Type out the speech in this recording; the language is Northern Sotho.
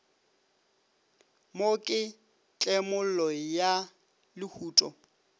mo ke tlemollo ya lehuto